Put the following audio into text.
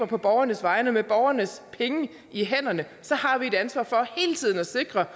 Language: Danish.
på borgernes vegne og med borgernes penge i hænderne har vi et ansvar for hele tiden at sikre